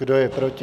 Kdo je proti?